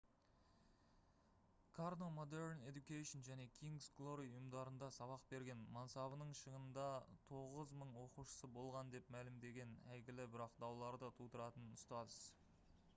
карно modern education және king's glory ұйымдарында сабақ берген мансабының шыңында 9000 оқушысы болған деп мәлімдеген әйгілі бірақ дауларды тудыратын ұстаз